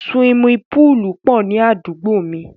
Siwimi púùlù pọ̀ ní àdúgbò mi.